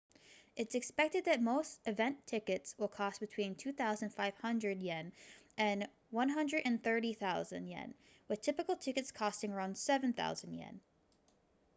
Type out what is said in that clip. it's expected that most event tickets will cost between ¥2,500 and ¥130,000 with typical tickets costing around ¥7,000